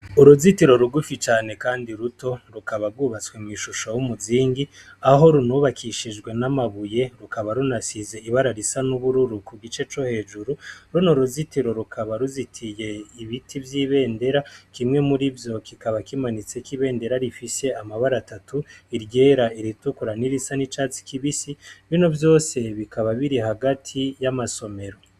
Uruzitiro rugufi cane, kandi ruto rukaba rwubatswe mw'ishusho b'umuzingi aho runubakishijwe n'amabuye rukaba runasize ibara risa n'ubururu ku gice co hejuru runa uruzitiro rukaba ruzitiye ibiti vy'ibendera kimwe muri vyo kikaba kimanitseko'ibendera rifise amabara atatu iryera iritukwe ra n'irisa n'icatsi kibisi bino vyose bikaba biri hagati y'amasomero.